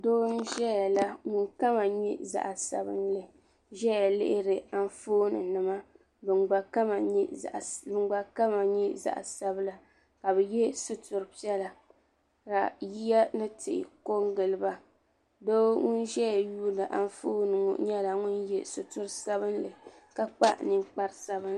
Doo n ʒɛya la ŋun kama nyɛ zaɣa sabinli ʒɛya lihiri anfooni nima ban gba kama nyɛ zaɣa sabla ka bɛ ye suturi piɛla ka yiya ni tihi kongili ba doo ŋun ʒɛya yuuni anfooni ŋɔ nyɛla ŋun ye suturi sabinli ka kpa ninkpariti sabinli.